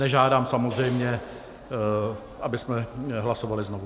Nežádám samozřejmě, abychom hlasovali znovu.